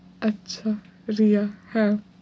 আচ্ছা রিয়া হ্যাঁ